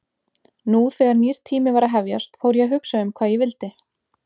Nú þegar nýr tími var að hefjast fór ég að hugsa um hvað ég vildi.